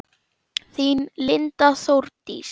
Þín Linda Þórdís.